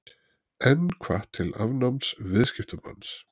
Enn hvatt til afnáms viðskiptabanns